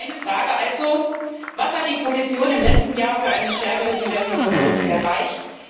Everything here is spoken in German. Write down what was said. Meine Frage also Was hat die Kommission im letzten Jahr für eine stärkere Diversifizierung erreicht?